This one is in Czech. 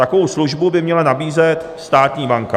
Takovou službu by měla nabízet státní banka.